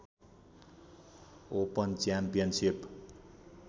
open championship